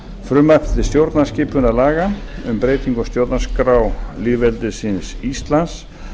frumvarpi til stjórnarskipunarlaga um breytingu á stjórnarskrá lýðveldisins íslands